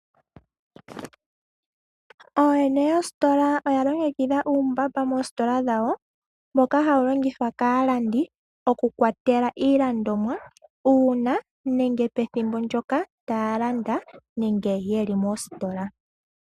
Ooyene yoositola oya longekidha uumbamba moositola dhawo, moka hawu longithwa kaalandi oku kwatela iilandomwa, uuna nenge pethimbo ndoka taya landa nenge yeli mositola.